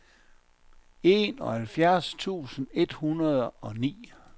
enoghalvfjerds tusind et hundrede og ni